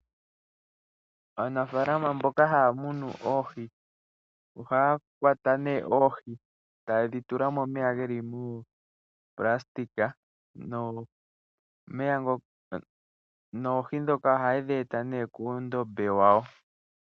Aanafaalama mboka haa munu oohi, ohaa kwata nee oohi e taye dhi tula momeya geli muunailona, noohi ndhoka ohaye dhi eta nee kuundombe wawo.